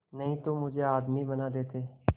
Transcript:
नहीं तो मुझे आदमी बना देते